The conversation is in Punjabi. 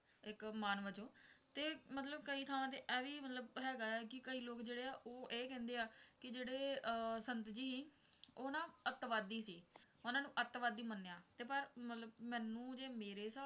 ਇੱਕ ਮਾਨ ਵਜੋਂ ਤੇ ਮਤਲਬ ਕਈ ਥਾਵਾਂ ਤੇ ਇਹ ਵੀ ਮਤਲਬ ਹੈਗਾ ਹੈ ਕਿ ਕਈ ਲੋਗ ਇਹ ਕਹਿੰਦੇ ਹੈ ਕਿ ਜਿਹੜੇ ਅਹ ਸੰਤ ਜੀ ਉਹ ਨਾ ਅੱਤਵਾਦੀ ਸੀ ਉਨ੍ਹਾਂ ਨੂੰ ਅੱਤਵਾਦੀ ਮੰਨਿਆ ਤੇ ਪਰ ਮਤਲਬ ਮੈਨੂੰ ਜੇ ਮੇਰੇ ਹਿਸਾਬ ਨਾਲ